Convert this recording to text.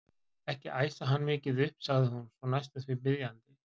Ekki æsa hann mikið upp sagði hún svo næstum því biðjandi.